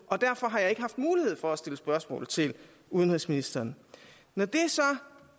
og derfor har jeg ikke haft mulighed for at stille spørgsmål til udenrigsministeren når det så